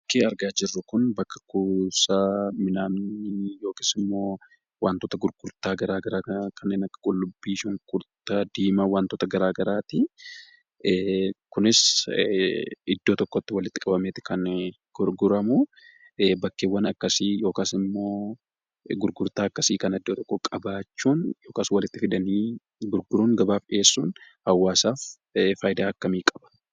Bakki argaa jirru kun bakka kunuunsa midhaanii akkasumas wantoota gurgurtaa garaagaraa kanneen akka qullubbii fi wantoota garaagaraati. Kunis iddoo tokkotti walitti qabameeti kan gurguramu. Bakkeewwan akkasii yookaas immoo gurgurtaa akkasii kana iddoo tokkoo qabaachuun yookaas akkas walitti fidanii gabaaf dhiyeessuun fayidaa akkamii qaba?